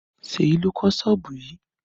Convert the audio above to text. Seyi ló kọ́ sọ́ọ̀bù yìí